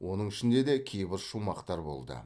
оның ішінде де кейбір шумақтар болды